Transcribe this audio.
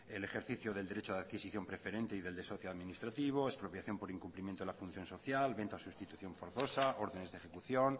el ejercicio del derecho de adquisición preferente y del desahucio administrativo expropiación por incumplimiento de la función social venta sustitución forzosa órdenes de ejecución